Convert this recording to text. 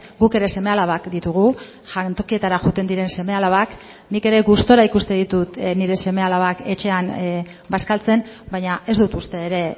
guk ere seme alabak ditugu jantokietara joaten diren seme alabak nik ere gustura ikusten ditut nire seme alabak etxean bazkaltzen baina ez dut uste ere